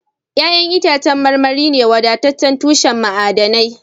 Ya'yan itacen marmari ne wadataccen tushen ma'adanai